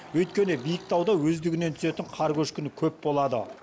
өйткені биік тауда өздігінен түсетін қар көшкіні көп болады